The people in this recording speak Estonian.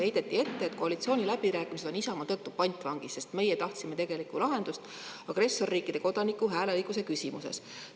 Heideti ette, et koalitsiooniläbirääkimised on Isamaa tõttu pantvangis, sest meie tahtsime tegelikku lahendust agressorriikide kodanike hääleõiguse küsimuses.